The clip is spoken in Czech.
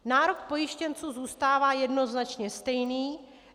Nárok pojištěnců zůstává jednoznačně stejný.